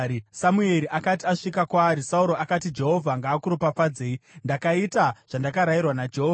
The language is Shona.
Samueri akati asvika kwaari, Sauro akati, “Jehovha ngaakuropafadzei! Ndakaita zvandakarayirwa naJehovha.”